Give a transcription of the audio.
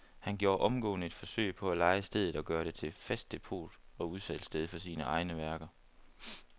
Han gjorde omgående et forsøg på at leje stedet og gøre det til fast depot og udsalgssted for sine egne værker.